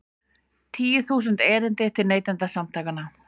Tíu þúsund erindi til Neytendasamtakanna